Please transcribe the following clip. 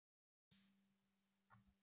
Lögreglan var kölluð út.